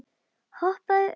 Hoppaðu upp í.